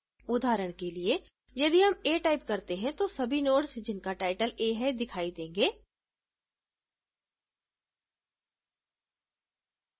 उदाहरण के लिए यदि हम a type करते हैं तो सभी nodes जिनका टाइटल a है दिखाई देंगे